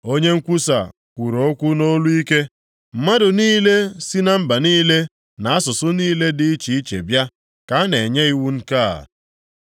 Onye nkwusa kwuru okwu nʼolu ike, “Mmadụ niile si na mba niile na asụsụ niile dị iche iche bịa, ka a na-enye iwu nke a,